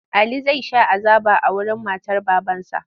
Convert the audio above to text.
Ali zai sha azaba a wurin matar babansa.